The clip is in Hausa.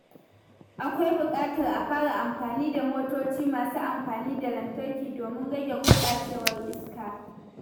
Akwai buƙatar a fara amfani da motoci masu amfani da lantarki domin rage gurɓacewar iska.